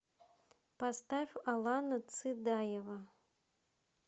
поставь алана цидаева